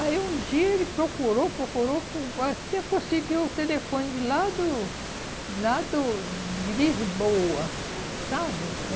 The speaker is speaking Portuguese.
Aí um dia ele procurou, procurou, procu, até conseguiu o telefone de lá do lá do de Lisboa, sabe? Ah, então eles são de Lisboa.